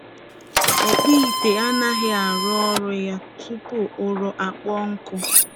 Ọkpụite aghaghị ịrụ ọrụ ya tupu ụrọ akpọọ nkụ.